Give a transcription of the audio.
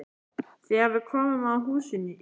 Þegar við komum að húsinu í